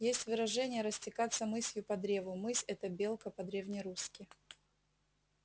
есть выражение растекаться мысью по древу мысь это белка по-древнерусски